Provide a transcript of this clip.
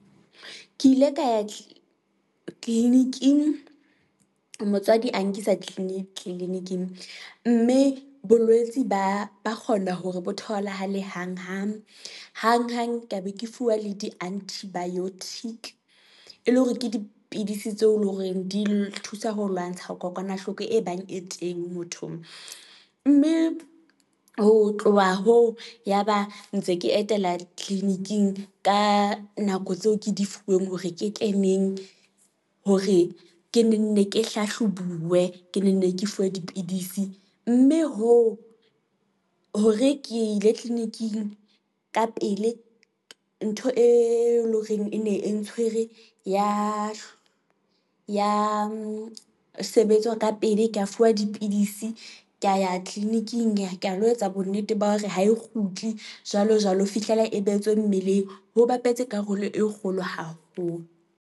Ke ile ka ya tleleniking, motswadi a nkisa tleleniking, mme bolwetsi ba ba kgona hore bo tholahale hang hang, hang hang ke be ke fuwa le di antibiotic, e le hore ke dipidisi tseo leng hore di thusa ho lwantsha ho kokwanahloko e bang e teng mothong, mme ho tloha hoo yaba ntse ke etela tleleniking ka nako tseo ke di fuweng hore ketle neng, hore ke nenne ke hlahlobuwe, ke nenne ke fuwe dipidisi, mme hoo hore ke ile tleleniking ka pele ntho e leng horeng ene e ntshwere, ya sebetswa ka pele. Ka fuwa dipidisi, ka ya tleleniking ka lo etsa bonnete ba hore ha e kgutli jwalo jwalo, ho fihlela e behetswe mmeleng, ho bapetse karolo e kgolo haholo.